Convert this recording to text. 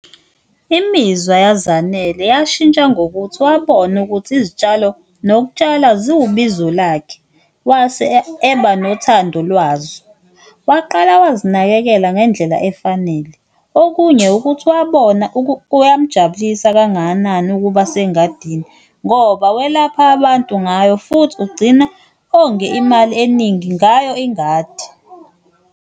Imizwa yaZanele yashintsha ngokuthi wabona ukuthi izitshalo nokutshala ziwubizo lakhe wase eba nothando lwazo, waqala wazinakekela ngendlela efanele okunye ukuthi lokho wabona kuyamjabulisa kangakanani ukuba sengadini ngoba walapha abantu ngayo, futhi ugcina onge imali eningi ngayo ingadi.